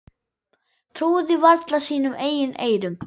Trúði varla sínum eigin eyrum.